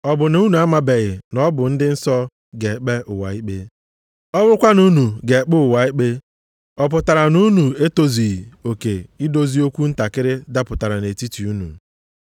Ọ bụ na unu amabeghị na ọ bụ ndị nsọ ga-ekpe ụwa ikpe? Ọ bụrụkwa na unu ga-ekpe ụwa ikpe, ọ pụtara na unu etozughị oke idozi okwu ntakịrị dapụtara nʼetiti unu?